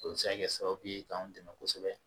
O bɛ se ka kɛ sababu ye k'an dɛmɛ kosɛbɛ